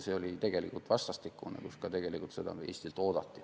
See oli vastastikune, sest seda tegelikult Eestilt ka oodati.